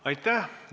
Aitäh!